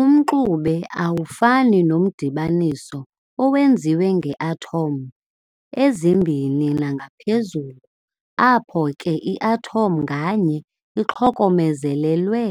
Umxube awufani nomdibaniso owenziwe ngee-atom ezimbini nangaphezulu, apho ke i-atom nganye ixokomezelelwe